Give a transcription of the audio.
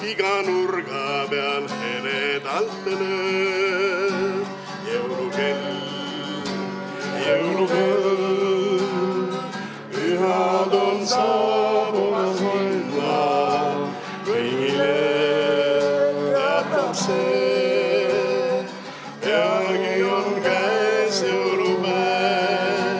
Iga nurga peal heledalt lööb jõulukell, jõulukell, pühad on saabumas linna, kõigile teatab see, peagi on käes jõulupäev.